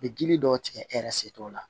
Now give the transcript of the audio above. U bɛ dili dɔw tigɛ e yɛrɛ se t'o la